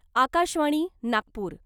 Akashvani , Nagpur .